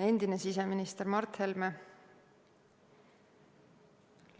Endine siseminister Mart Helme